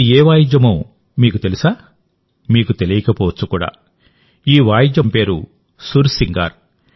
ఇది ఏ వాయిద్యమో మీకు తెలుసా మీకు తెలియకపోవచ్చుకూడా ఈ వాయిద్య మంత్రం పేరు సుర్ సింగార్